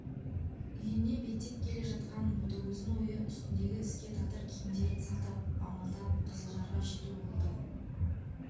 үйіне беттеп келе жатқан ботагөздің ойы үстіндегі іске татыр киімдерін сатып амалдап қызылжарға жету болды